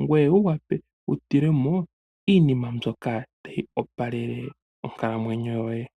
ngoye wu wape wutule mo iinima mbyoka tayi opalele onkalamwenyo yoye.